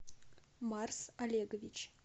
марс олегович